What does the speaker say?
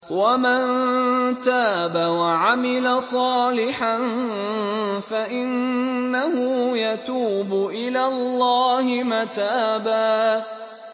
وَمَن تَابَ وَعَمِلَ صَالِحًا فَإِنَّهُ يَتُوبُ إِلَى اللَّهِ مَتَابًا